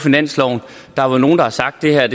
det er